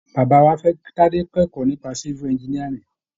Bàbá wa fẹ́ kí Tadé kẹ́kọ̀ọ́ nípa Civil Engineering.